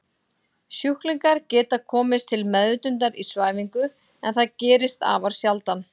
Sjúklingar geta komist til meðvitundar í svæfingu en það gerist afar sjaldan.